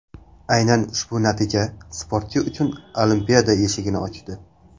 Aynan ushbu natija sportchi uchun Olimpiada eshigini ochdi.